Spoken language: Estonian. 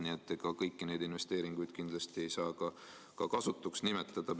Nii et kindlasti ei saa kõiki neid investeeringuid kasutuks nimetada.